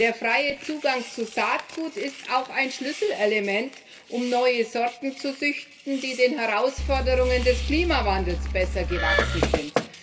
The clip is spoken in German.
Der freie Zugang zu Saatgut ist auch ein Schlüsselelement, um neue Sorten zu züchten, die den Herausforderungen des Klimawandels besser gewachsen sind.